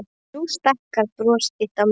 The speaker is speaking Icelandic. Nú stækkar bros þitt á myndinni.